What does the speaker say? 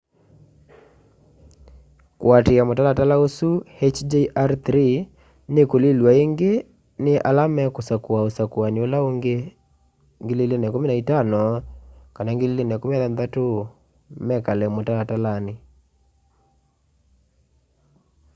kuatiia mutalala usu hjr-3 nikulilw'a ingi ni ala mekusakua usakuani ula ungi 2015 kana 2016 mekale mutalatalani